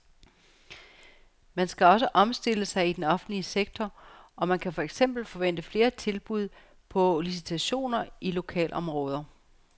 Man skal også omstille sig i den offentlige sektor, og man kan for eksempel forvente flere tilbud på licitationer i lokalområder.